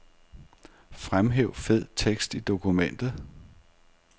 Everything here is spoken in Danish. Fremhæv fed tekst i dokument.